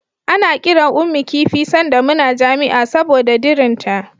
Ana kiran Ummi kifi sanda muna jami'a saboda dirinta.